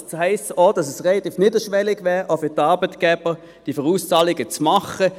Das heisst auch, dass es auch für die Arbeitgeber relativ niederschwellig wäre, diese Vorauszahlungen zu tätigen.